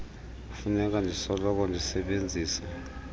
kufuneka ndisoloko ndisebenzisa